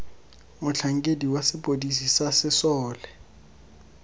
motlhankedi wa sepodisi sa sesole